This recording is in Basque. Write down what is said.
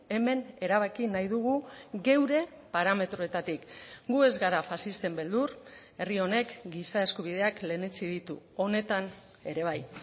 hemen erabaki nahi dugu geure parametroetatik gu ez gara faxisten beldur herri honek giza eskubideak lehenetsi ditu honetan ere bai